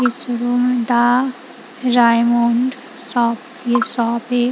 इस रूम दा Raymond shop ये शॉप है।